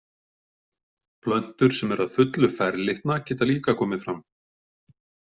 Plöntur sem eru að fullu ferlitna geta líka komið fram.